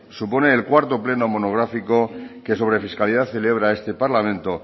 supone el cuarto pleno monográfico que sobre fiscalidad celebra este parlamento